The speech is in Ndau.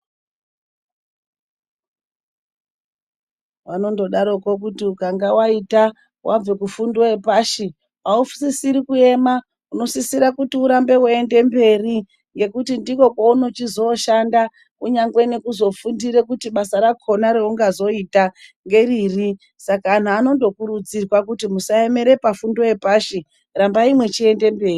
Vanondodaroko kuti ukange waita wabve kufundo yepashi, ausisiri kuema unosisira kuti urambe weienda mberi ngekuti ndikwo kweunochizoshanda. Kunyangwe nekuzofundira kuite basa rakhona reungazoita ngeriri, saka anhu anondokurudzirwa kuti musaemera pafundo yepashi rambai mwechienda mberi.